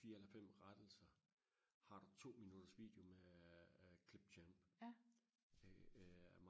fire eller fem rettelser har du to minutters video med klip til en øh øh